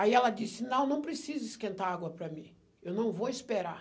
Aí ela disse, não, não precisa esquentar água para mim, eu não vou esperar.